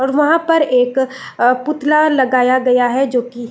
और वहाँ पर एक अ पुतला लगाया गया है जो कि --